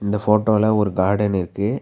இந்த ஃபோட்டோல ஒரு கார்டன் இருக்கு.